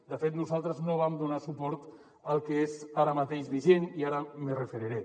de fet nosaltres no vam donar suport al que és ara mateix vigent i ara m’hi referiré